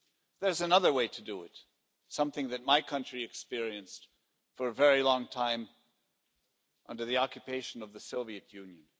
There's another way to do it something that my country experienced for a very long time under the occupation of the Soviet Union.